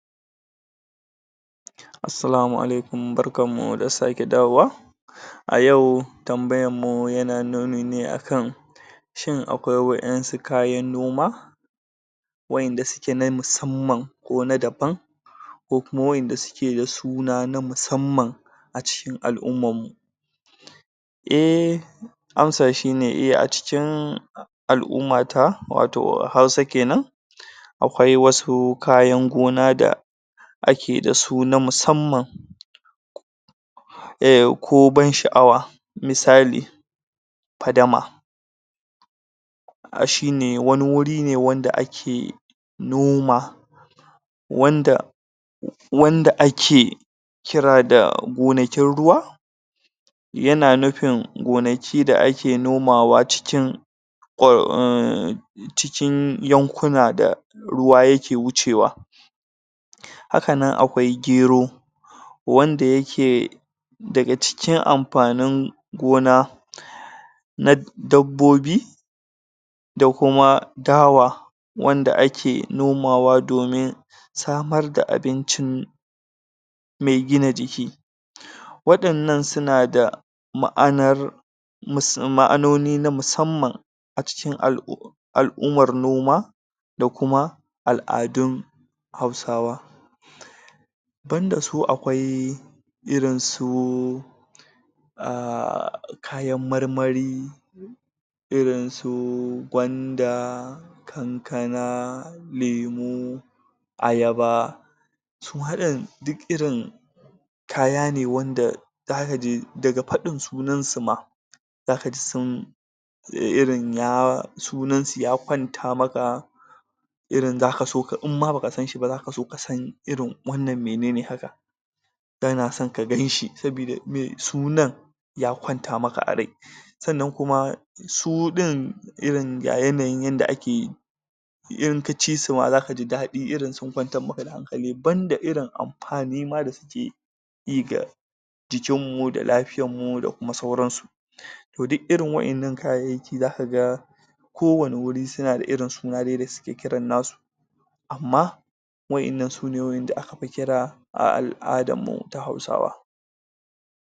Assalamu alaikum, Barkan mu da sake dawowa A yau tambayar mu yana nuni ne akan shin akwai wa'yansu kayan noma wa'yanda suke na musamman ko na daban ko kuma wa'yanda suna na musamman a cikin al'ummam mu eh ansa shine 'eh' a cikin al'umma ta wato Hausa kenan akwai wasu kayan gona da ake dasu na musamman eh, ko ban sha'awa misali fadama a shine ne, wani wuri ne wanda ake noma wanda wanda ake kira da gonakin ruwa yana nufin gonaki da ake noma wa cikin kwa cikin yankunan da ruwa yake wucewa hakan nan akwai Gero wanda yake daga cikin amfanin gona na dabbobi da kuma Dawa wanda ake noma domin samar da abincin mai gina ciki waɗannan suna da ma'anar mus ma'anoni na musamman aciki al'um al'ummar noma da kuma al'adun Hausawa banda su akwai irin su ah kayan marmari irin su Gwanda Kankana Lemo Ayaba suma ɗin duk irin kaya ne wanda zaka je, daga faɗin suan su ma zaka ji sun irin ya sunansu ya kwanata maka irin zaka so, in ma baka sanshi ba, zaka so kasan irin wannan mene ne haka kana son ka ganshi, sabida mene, sunan ya kwanta maka a rai sannan kuma su ɗin irin ga yanayin yadda ake in kaci su ma zaka ji daɗi, irin sun kwantar maka da hankali, banda irin amfani ma da suke yi ga jikin mu da lafiyar mu da kuma sauransu to duk irin wa'yan nan kayayyaki zaka ga ko wanne wuri suna da irin sunaye da suke kiran nasu amma wa'yan nan sune wa'yan da aka fi kira a al'adar mu ta Hausawa